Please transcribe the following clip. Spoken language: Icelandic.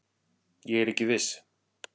Ég er ekki viss.